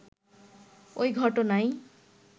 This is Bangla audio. ওই ঘটনায়